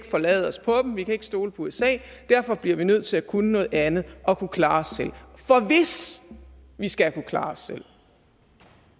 forlade os på dem at vi ikke kan stole på usa derfor bliver vi nødt til at kunne noget andet og kunne klare os selv for hvis vi skal kunne klare os selv